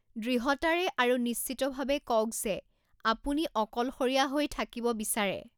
দৃঢ়তাৰে আৰু নিশ্চিতভাৱে কওঁক যে আপুনি অকলশৰীয়া হৈ থাকিব বিচাৰে।